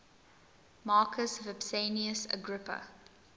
marcus vipsanius agrippa